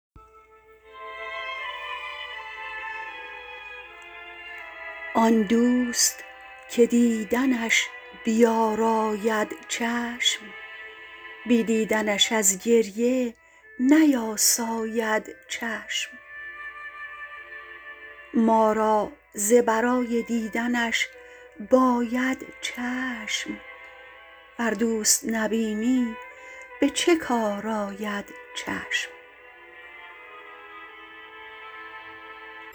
آن دوست که دیدنش بیاراید چشم بی دیدنش از گریه نیاساید چشم ما را ز برای دیدنش باید چشم ور دوست نبینی به چه کار آید چشم